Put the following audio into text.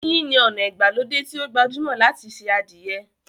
Yínyin ni ona ìgbàlódé tí o gbajúmò láti ṣe adìẹ.